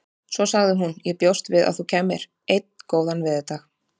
Svo sagði hún: Ég bjóst við að þú kæmir. einn góðan veðurdag